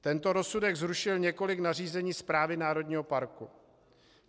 Tento rozsudek zrušil několik nařízení správy národního parku.